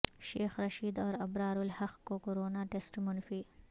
شیخ رشید اور ابرار الحق کے corona test منفی